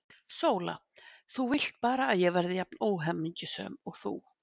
SÓLA: Þú vilt bara að ég verði jafn óhamingjusöm og þú!